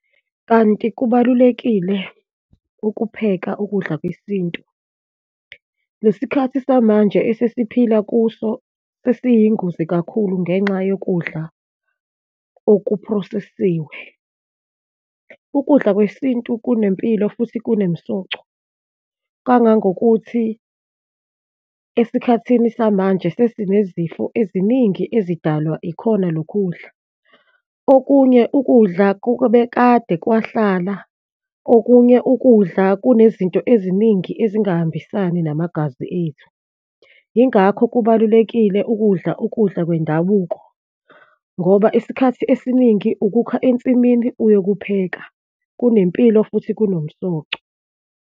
Kanti kubalulekile ukupheka ukudla kwesintu. Lesikhathi samanje esesiphila kuso sesiyingozi kakhulu ngenxa yokudla okuphrosesiwe. Ukudla kwesintu kunempilo futhi kunemsoco, kangangokuthi esikhathini samanje sesinezifo eziningi ezidalwa ikhona lokhu kudla. Okunye ukudla kukobe kade kwahlala, okunye ukudla kunezinto eziningi ezingahambisani namagazi ethu. Yingakho kubalulekile ukudla ukudla kwendabuko ngoba isikhathi esiningi ukukha ensimini uyokupheka, kunempilo futhi kunomsoco.